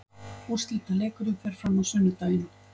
Úrslitaleikurinn fer fram á sunnudaginn.